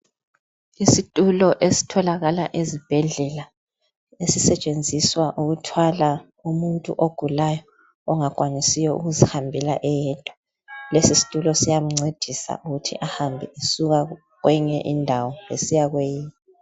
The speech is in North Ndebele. Isitulo esitholakala ezibhedlela esisetshenziswa ukuthwala umuntu ogulayo ongakwanisiyo ukuzihambela eyedwa lesi situlo siyamncedisa ukuthi ahambe esuka kweyinye indawo esiya kweyinye.